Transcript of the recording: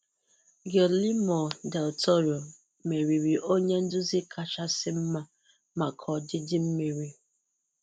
Guillermo Del Toro meriri 'Onye nduzi kachasị mma' maka ọdịdị mmiri.